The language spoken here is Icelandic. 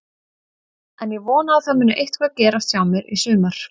En ég vona að það muni eitthvað gerast hjá mér í sumar.